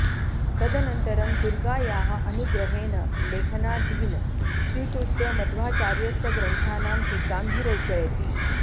तदनन्तरं दुर्गायाः अनुग्रहेण लेखनादीन् स्वीकृत्य मध्वाचार्यस्य ग्रन्थानां टीकां विरचयति